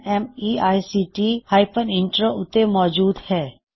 ਇਸ ਮਿਸ਼ਨ ਦੀ ਹੋਰ ਜਾਣਕਾਰੀ spoken tutorialorgnmeict ਇੰਟਰੋ ਉੱਤੇ ਮੌਜੂਦ ਹੈ